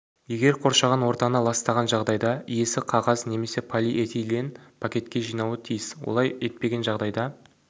егер қоршаған ортаны ластаған жағдайда иесі қағаз немесе полиэтилен пакетке жинауы тиіс олай етпеген жағдайда